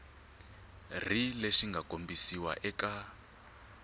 ri lexi mga kombisiwa eka